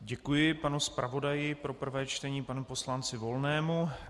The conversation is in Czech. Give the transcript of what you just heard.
Děkuji panu zpravodaji pro prvé čtení, panu poslanci Volnému.